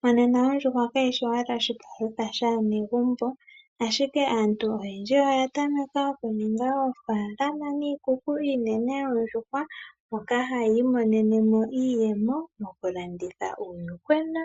Mo nena ondjuhwa kayishi owala oshi palutha shaa negumbo, ashike aantu oyendji oya tameka oku ninga oofaalama niikuku iinene yoondjuhwa moka hayi imonene mo iiyemo moku landitha uuyuhwena,